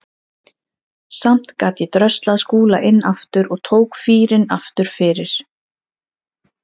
Samt gat ég dröslað Skúla inn aftur og tók fýrinn aftur fyrir.